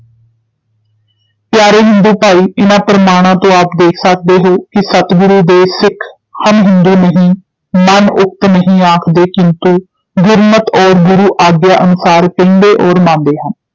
ਪਿਆਰੇ ਹਿੰਦੂ ਭਾਈ ਇਨ੍ਹਾਂ ਪ੍ਰਮਾਣਾਂ ਤੋਂ ਆਪ ਦੇਖ ਸਕਦੇ ਹੋ ਕਿ ਸਤਿਗੁਰੂ ਦੇ ਸਿਖ ਹਮ ਹਿੰਦੂ ਨਹੀਂ ਮਨ-ਉਕਤਿ ਨਹੀਂ ਆਖਦੇ, ਕਿੰਤੂ ਗੁਰਮਤਿ ਔਰ ਗੁਰੂ ਆਗਿਆ ਅਨੁਸਾਰ ਕਹਿੰਦੇ ਔਰ ਮੰਨਦੇ ਹਨ।